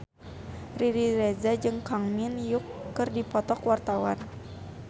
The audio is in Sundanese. Riri Reza jeung Kang Min Hyuk keur dipoto ku wartawan